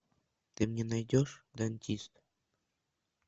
ты мне найдешь дантист